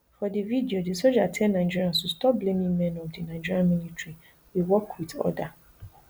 for di video di soja tell nigerians to stop blaming men of di nigerian military we work wit order